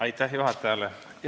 Aitäh juhatajale!